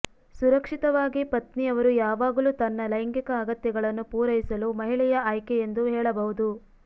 ಸುರಕ್ಷಿತವಾಗಿ ಪತ್ನಿ ಅವರು ಯಾವಾಗಲೂ ತನ್ನ ಲೈಂಗಿಕ ಅಗತ್ಯಗಳನ್ನು ಪೂರೈಸಲು ಮಹಿಳೆಯ ಆಯ್ಕೆ ಎಂದು ಹೇಳಬಹುದು